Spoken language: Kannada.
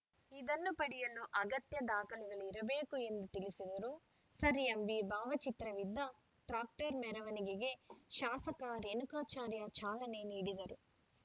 ಇದನ್ನು ಪಡೆಯಲು ಅಗತ್ಯ ದಾಖಲೆಗಳು ಇರಬೇಕು ಎಂದು ತಿಳಿಸಿದರು ಸರ್‌ಎಂವಿ ಭಾವಚಿತ್ರವಿದ್ದ ಟ್ರಾಕ್ಟರ್‌ ಮೆರವಣಿಗೆಗೆ ಶಾಸಕ ರೇಣುಕಾಚಾರ್ಯ ಚಾಲನೆ ನೀಡಿದರು